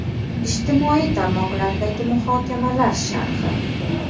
Ijtimoiy tarmoqlardagi muhokamalar sharhi.